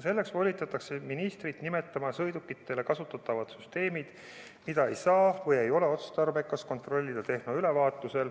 Selleks volitatakse ministrit nimetama sõidukitel kasutatavad süsteemid, mida ei saa või ei ole otstarbekas kontrollida tehnoülevaatusel